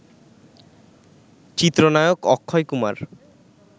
চিত্রনায়ক অক্ষয় কুমার